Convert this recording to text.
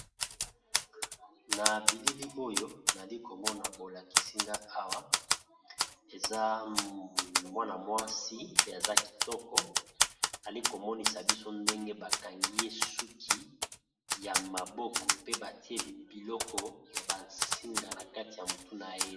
Na bilili oyo nali ko mona bo lakisi nga awa eza mwana mwasi pe aza kitoko, ali ko monisa biso ndenge ba kangi ye suki ya maboko pe ba tie biloko ya ba singa na kati ya motu na ye .